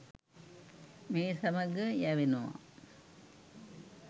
මේ සමග යැවෙනවා.